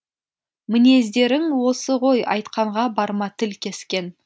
мінездерің осы ғой айтқанға барма тіл кескен